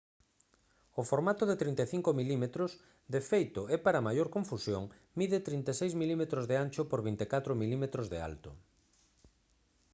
o formato de 35 mm de feito e para maior confusión mide 36 mm de ancho por 24 mm de alto